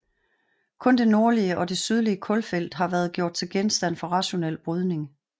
Kun det nordlige og det sydlige kulfelt har været gjort til genstand for rationel brydning